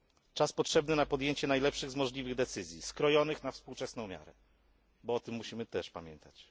Czas potrzebny na podjęcie najlepszej z możliwych decyzji, skrojonych na współczesną miarę, bo o tym musimy też pamiętać.